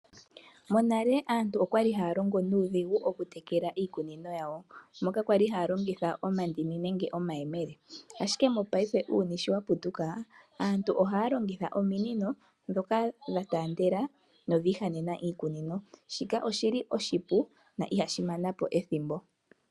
Monale aantu okwali haya longo nuudhigu oku tekela iikunino yawo. Okwali haya longitha oondini nenge omayemele. Ashike mongaashingeyi uuyuni sho wa lunduluka aantu ohaya longitha ominino ndhoka dha taandela nodhi ihanena iikunino. Shika oshili oshi pu na ihashi manapo ethimbo.